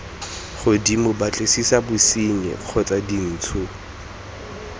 godimo batlisisa bosenyi kgotsa dintsho